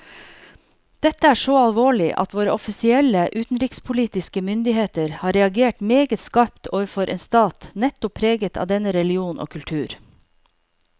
Dette er så alvorlig at våre offisielle utenrikspolitiske myndigheter har reagert meget skarpt overfor en stat nettopp preget av denne religion og kultur.